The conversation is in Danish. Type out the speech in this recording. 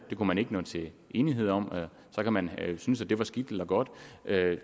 det kunne man ikke nå til enighed om så kan man synes at det var skidt eller godt